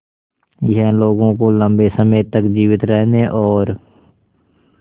यह लोगों को लंबे समय तक जीवित रहने और